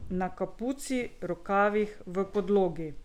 Na kapuci, rokavih, v podlogi.